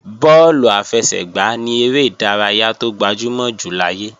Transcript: Bọ́ọ̀lù àfẹsẹ̀gbá ni eré ìdárayá tó gbajúmọ̀ jù láyé